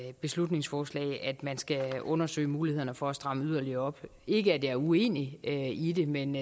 i et beslutningsforslag det er at man skal undersøge mulighederne for at stramme yderligere op ikke at jeg er uenig i det men